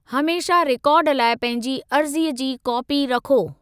हमेशह रिकॉर्ड लाइ पंहिंजी अर्ज़ीअ जी कापी रखो।